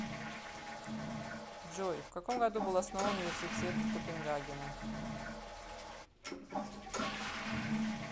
джой вкаком году был основан университет копенгагена